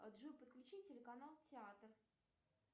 джой подключи телеканал театр